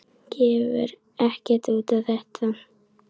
Gefur ekkert út á þetta.